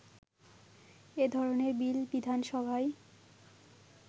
এধরণের বিল বিধানসভায়